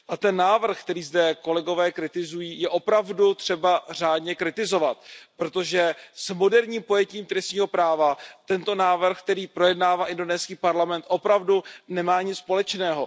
A ten návrh, který zde kolegové kritizují, je opravdu třeba řádně kritizovat, protože s moderním pojetím trestního práva tento návrh, který projednává indonéský parlament, opravdu nemá nic společného.